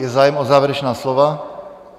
Je zájem o závěrečná slova?